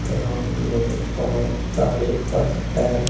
Ground में बहुत सारे बस है।